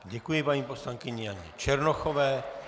Děkuji paní poslankyni Janě Černochové.